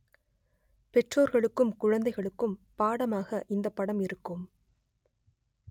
பெற்றோர்களுக்கும் குழந்தைகளுக்கும் பாடமாக இந்த படம் இருக்கும்